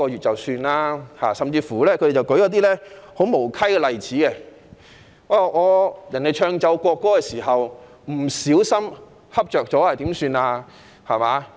他們甚至舉出一些很無稽的例子，即奏唱國歌時，有人不小心睡着了應該怎辦。